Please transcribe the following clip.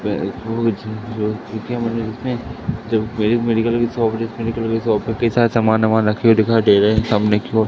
महफूज जो जिसमें जब एक मेडिकल की शॉप जिस मेडिकल की शॉप पे कई सारे समान ओमान रखे हुए दिखाई दे रहें हैं सामने की ओर--